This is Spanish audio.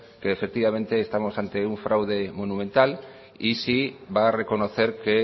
que efectivamente estamos ante un fraude monumental y si va a reconocer que